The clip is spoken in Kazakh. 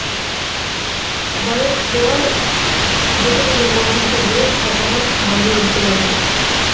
байырқулар жеті жүз он алтыншы жылы қапаған қағанды өлтіреді